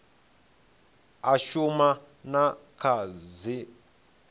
a shuma na kha dzipmb